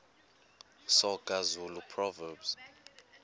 soga zulu proverbs